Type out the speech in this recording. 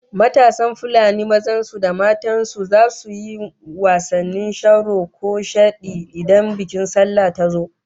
Matasan Fulanin mazan su da matan su zasu yi wasannin sharo ko shadi idan bikin sallah ta zo